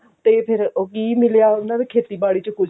ਤੇ ਫ਼ੇਰ ਕੀ ਮਿਲਿਆ ਉਹਨਾਂ ਨੂੰ ਖੇਤੀਬਾੜੀ ਚ ਕੁਝ